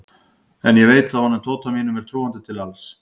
En ég veit að honum Tóta mínum er trúandi til alls.